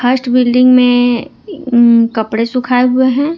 First building में अम कपड़े सुखाए हुए हैं।